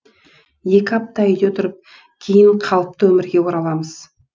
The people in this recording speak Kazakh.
екі апта үйде отырып кейін қалыпты өмірге ораламыз